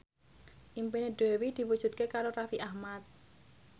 impine Dewi diwujudke karo Raffi Ahmad